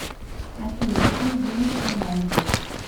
афина какие деньги в финляндии